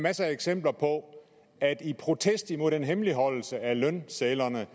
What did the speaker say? masser af eksempler på at i protest imod den hemmeligholdelse af lønsedlerne